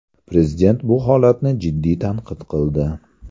Prezident bu holatni jiddiy tanqid qildi.